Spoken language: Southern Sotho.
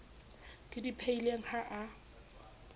ke di phehileng ha a